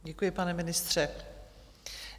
Děkuji, pane ministře.